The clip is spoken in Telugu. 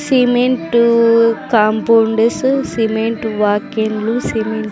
సిమెంటు కాంపౌండు సు సిమెంటు వాకిండ్లు సిమెం --